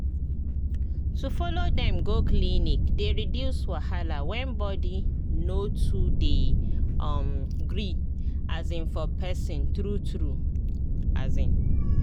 to follow dem go clinic dey reduce wahala when body no too dey um gree um for person true true um